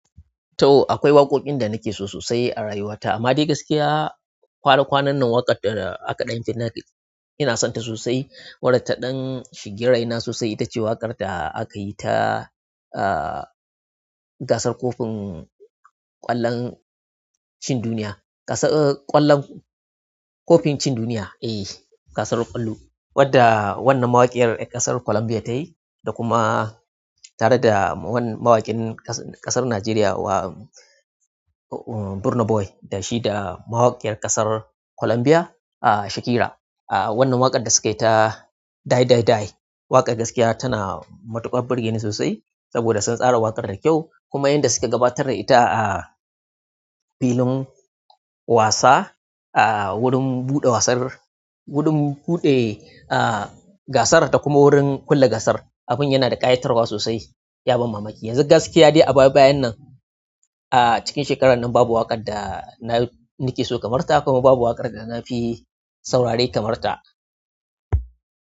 To akwai waƙoƙin da nake so sosai a rayuwata, amma dai gaskiya kwana-kwanan nan waƙa da aka ɗan jina ina sonta sosai. Wada ta ɗan shiga rai na sosai, ita ce waƙar da aka yi ta, ah, gasar ƙofin ƙwallon cin duniya. Gasar ƙwallon, ƙofin cin duniya eh gasar ƙwallo wadda wannan mawaƙiyar ƴa ƙasa Colombia tayi, da kuma tare da wani mawaƙin ƙasa, ƙasar Najeriya, wa Burna Boy da shi da mawaƙiyar ƙasar Colombia, ah Shakira. Wannan waƙar da sukayi ta "Dai Dai Dai" waƙar gaskiya tana matuƙar burge ni sosai, saboda sun tsara waƙar da kyau, kuma yadda suke gabatar da ita ah filin wasa ah wurin buɗe wasar, wurin buɗe ah gasar da kuma wurin kulle gasar. Abin yana da ƙayatarwa sosai, yabon mamaki. Yanzu gaskiya dai a baya-bayan nan a cikin shekarar nan babu waƙar da na nake so kamar ta, kuma babu waƙar da nafi saurari kamar ta.